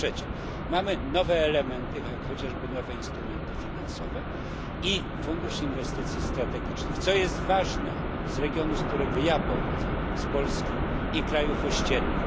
Po trzecie, mamy nowe elementy, jak chociażby nowe instrumenty finansowe i Fundusz Inwestycji Strategicznych, co jest ważne dla regionu, z którego ja pochodzę, dla Polski i dla krajów ościennych.